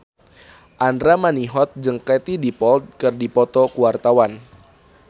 Andra Manihot jeung Katie Dippold keur dipoto ku wartawan